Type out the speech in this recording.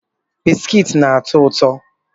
Biskiti na-atọ ụtọ